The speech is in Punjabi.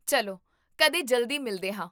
ਚੱਲੋਕਦੇ ਜਲਦੀ ਮਿਲਦੇ ਹਾਂ